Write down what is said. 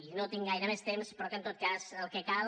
i no tinc gaire més temps però que en tot cas el que cal